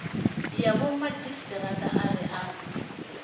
ya vhomadzhisi ara a u